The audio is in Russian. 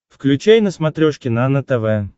включай на смотрешке нано тв